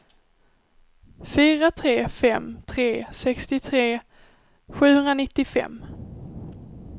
fyra tre fem tre sextiotre sjuhundranittiofem